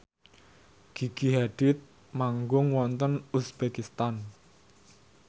Gigi Hadid manggung wonten uzbekistan